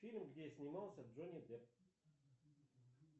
фильм где снимался джонни депп